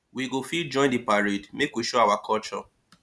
we go fit join di parade make we show our culture